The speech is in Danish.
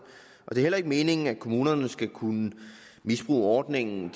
og det er heller ikke meningen at kommunerne skal kunne misbruge ordningen